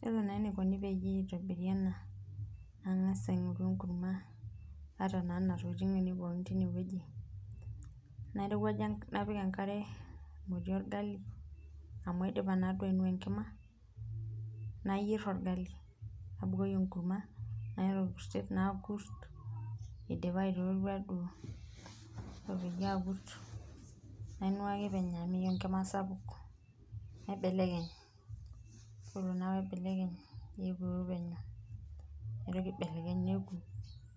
Yiolo naa eneikoni peyie eitobiri ena naa Inga's aingoru enkurma, naata naa nena tokiting peekin teneweji ,napik enkare emoti orgali amu aidipa naduo ainua enkima ,nayier orgali nabukoki enkurma nakurt amu aata orkurtet nakurt eidipa aitootua duo ,ore peyie akurt nainuaaki penyo amu meyeiu enkima sapuk ,naibelekeny yiolo naa pee aibelekeny naisho epuru penyo naitoki aibelekeny neeku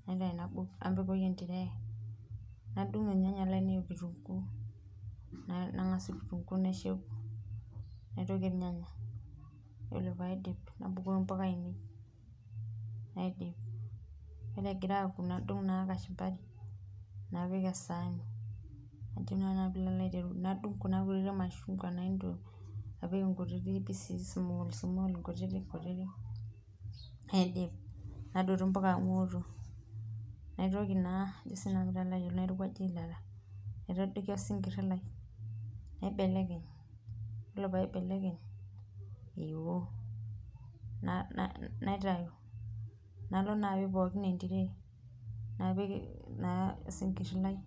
naabulu napik entray ,nadungie irnyanya leinei okitunkuu, Nagasaki kitunkuu naisho eku naitoki irnyanya ,yiolo pee aidip nabukoki mpuka ainei naidip, yiolo egira aaku nadung naa kachumabari napik esaani ,napik Kuna kutitik mashungwa naapik nkutitik naidip ,nadotu mpuka amu eoto ,nairowajie eilata naitadoki osinkiri lai ,naibelekeny yiolo pee aibelekeny, eoo naitayu nalo naaa apik pookin entiray ,napik naa osinkiri lai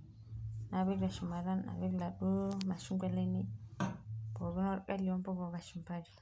napik teshumara napik laduo mashungwa lainei pookin impuka okashumbari.